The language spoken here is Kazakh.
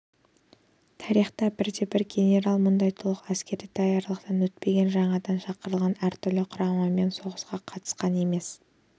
тарихта бірде-бір генерал мұндай толық әскери даярлықтан өтпеген жаңадан шақырылған әртүрлі кұраммен соғысқа қатысқан емес